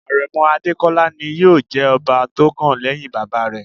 Àrẹ̀mọ Adékọ́lá ni yóò jẹ ọba tó kàn lẹ́hìn bàbá rẹ̀.